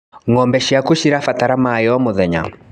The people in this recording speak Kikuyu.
Ngombe ciaku cirabatara maĩ o mũthenya.